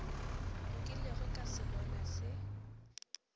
nkilego ka se bona se